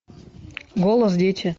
голос дети